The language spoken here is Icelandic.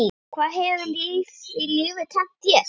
Hvað hefur lífið kennt þér?